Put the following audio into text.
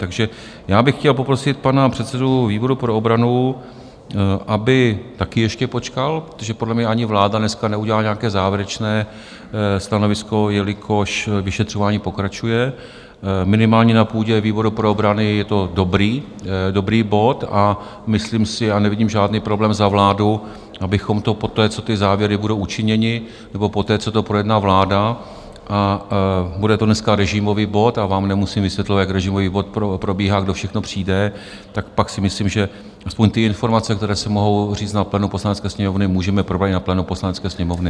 Takže já bych chtěl poprosit pana předsedu výboru pro obranu, aby taky ještě počkal, protože podle mě ani vláda dneska neudělá nějaké závěrečné stanovisko, jelikož vyšetřování pokračuje, minimálně na půdě výboru pro obranu je to dobrý bod, a myslím si, a nevidím žádný problém za vládu, abychom to poté, co ty závěry budou učiněny, nebo poté, co to projedná vláda - a bude to dneska režimový bod a vám nemusím vysvětlovat, jak režimový bod probíhá, kdo všechno přijde - tak pak si myslím, že aspoň ty informace, které se mohou říct na plénu Poslanecké sněmovny, můžeme probrat i na plénu Poslanecké sněmovny.